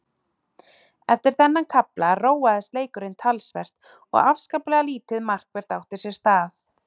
Eftir þennan kafla róaðist leikurinn talsvert og afskaplega lítið markvert átti sér stað.